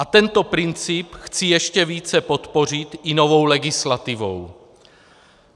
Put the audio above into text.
A tento princip chci ještě více podpořit i novou legislativou.